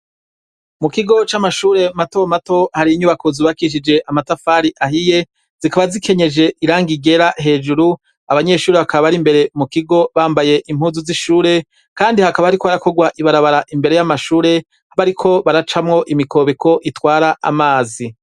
Mu kigo c'amashure matomato hari inyubako zubakishije amatafari ahiye zikaba zikenyeje iranga igera hejuru abanyeshuri hakaba ari imbere mu kigo bambaye impuzu z'ishure, kandi hakaba, ariko barakorwa ibarabara imbere y'amashure habe, ariko baracamwo imikobeko itwara amazi.